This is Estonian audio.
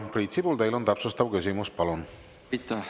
Priit Sibul, täpsustav küsimus, palun!